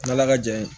N'ala ka jɛ ye